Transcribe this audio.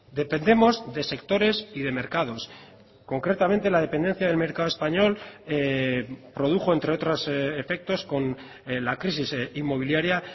dependemos de sectores y de mercados concretamente la dependencia del mercado español produjo entre otros efectos con la crisis inmobiliaria